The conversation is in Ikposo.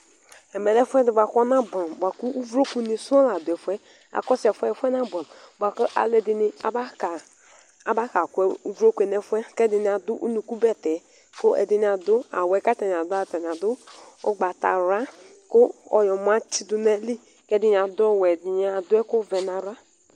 Ɛmɛ lɛ ɛfʋɛdi bʋakʋ ɔnabɛamʋ bʋakʋ uvloku ni sɔŋ la dʋ ɛfʋ yɛ akɔsʋ ɛfʋ yɛ ɛfʋ yɛ nabʋɛamʋ bʋakʋ alʋɛdini abaka kʋ ʋvlokʋ yɛ nʋ ɛfʋ yɛ kʋ ɛdini adʋ ʋnʋkʋ bɛtɛ kʋ ɛdini adʋ awʋ awʋɛ kʋ adʋ atani adʋ ʋgbatawla kʋ ɔyɔmɔ atsidʋ nʋ ayili, ɛdini adʋ ɔwɛ, ɛdini adʋ ɛkʋvɛ nʋ ava